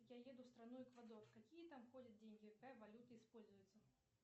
я еду в страну эквадор какие там ходят деньги какая валюта используется